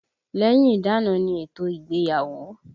Lẹ́yìn ìdána ni ètò ìgbéyàwó